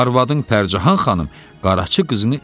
arvadın Pərcəhan xanım, Qaraçı qızını evinə qoymaz.